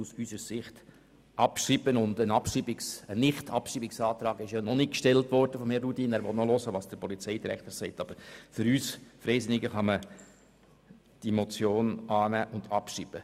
Bisher wurde noch kein Abschreibungsantrag gestellt und man will einmal hören, was der Polizeidirektor sagt, aber für uns Freisinnige kann man diese Motion annehmen und abschreiben.